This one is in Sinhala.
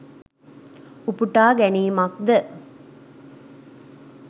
උපුටා ගැනීමක්ද?